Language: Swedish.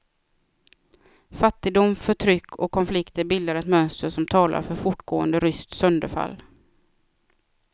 Fattigdom, förtryck och konflikter bildar ett mönster som talar för fortgående ryskt sönderfall.